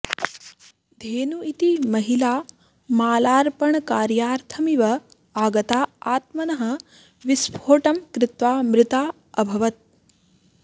धनु इति महिला मालार्पणकार्यार्थमिव आगता आत्मनः विस्फोटं कृत्वा मृता अभवत्